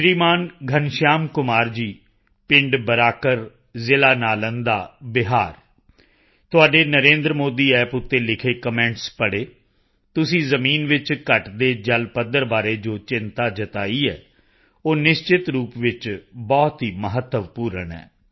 ਸ਼੍ਰੀਮਾਨ ਘਣਸ਼ਿਆਮ ਕੁਮਾਰ ਜੀ ਪਿੰਡ ਬਰਾਕਰ ਜ਼ਿਲਾ ਨਾਲੰਦਾ ਬਿਹਾਰ ਤੁਹਾਡੇ NarendraModiApp ਤੇ ਲਿਖੇ ਕਮੈਂਟਸ ਪੜ੍ਹੇ ਤੁਸੀਂ ਜ਼ਮੀਨ ਵਿੱਚ ਘਟਦੇ ਜਲਪੱਧਰ ਬਾਰੇ ਜੋ ਚਿੰਤਾ ਜਤਾਈ ਹੈ ਉਹ ਨਿਸ਼ਚਿਤ ਰੂਪ ਵਿੱਚ ਬਹੁਤ ਹੀ ਮਹੱਤਵਪੂਰਨ ਹੈ